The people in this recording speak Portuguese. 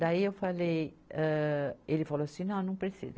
Daí eu falei, âh, ele falou assim, não, não precisa.